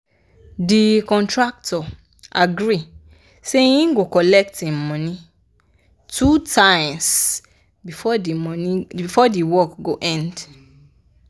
de contractor agree say him go colet him money two times before the work go end